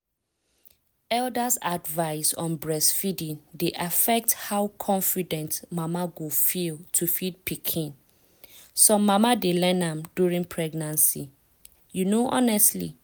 elders’ advice on breastfeeding dey affect how confident mama go feel to feed pikin. some mama dey learn am during pregnancy. you know honestly.